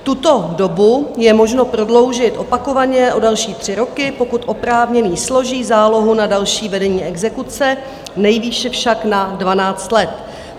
Tuto dobu je možno prodloužit opakovaně o další 3 roky, pokud oprávněný složí zálohu na další vedení exekuce, nejvýše však na 12 let.